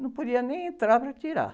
Não podia nem entrar para tirar.